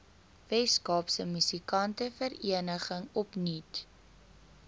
weskaapse musikantevereniging opnuut